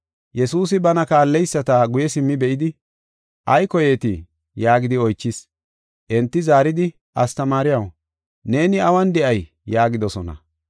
Yesuusi bana kaalleyisata guye simmi be7idi, “Ay koyeetii?” yaagidi oychis. Enti zaaridi, “Astamaariyaw, neeni awun de7ay?” yaagidosona.